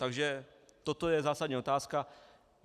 Takže toto je zásadní otázka.